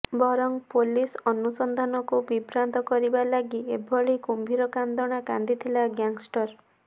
ବରଂ ପୋଲିସ ଅନୁସନ୍ଧାନକୁ ବିଭ୍ରାନ୍ତ କରିବା ଲାଗି ଏଭଳି କୁମ୍ଭୀର କାନ୍ଦଣା କାନ୍ଦିଥିଲା ଗ୍ୟାଙ୍ଗଷ୍ଟର